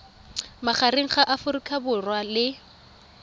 magareng ga aforika borwa le